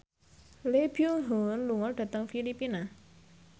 Lee Byung Hun lunga dhateng Filipina